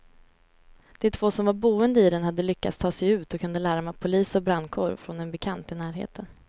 De två som var boende i den hade lyckats ta sig ut och kunde larma polis och brandkår från en bekant i närheten.